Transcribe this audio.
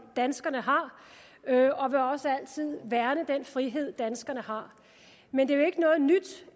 danskerne har og vil også altid værne om den frihed danskerne har men det